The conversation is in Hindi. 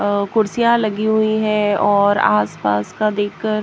अअ कुर्सियां लगी हुई हैऔर आसपास का देखकर--